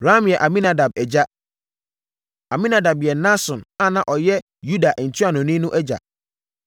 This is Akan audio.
Ram yɛ Aminadab agya. Aminadab yɛ Nahson a na ɔyɛ Yuda ntuanoni no agya.